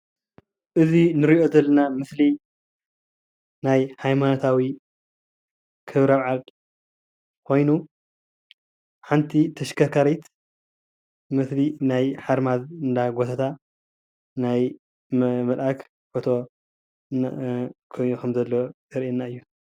እዚ እንሪኦ ዘለና ምስሊ ናይ ሃይማኖታዊ ክብረ በዓል ኮይኑ ሓንቲ ተሽከርካሪት ውፅኢት ናይ ሓርማዝ እንዳጎተታ ናይ መልኣክ ፎቶ ኮይኑ ከም ዘሎ ዘርእየና ምስሉ እዩ፡፡